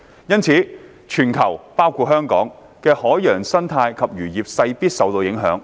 因此，全球的海洋生態及漁業勢必受影響。